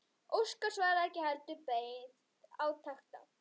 Óskar svaraði ekki heldur beið átekta.